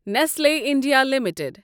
Nestle India limited